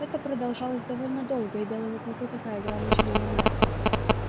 это продолжалось довольно долго и белому клыку такая игра начинала нравиться